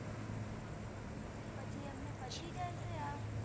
પછી એમ ને પચી જાય છે આ